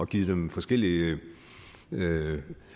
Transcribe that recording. givet dem forskelligt